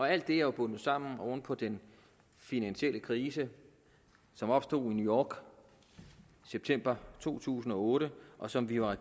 alt det er jo bundet sammen oven på den finansielle krise som opstod i new york i september to tusind og otte og som vi jo har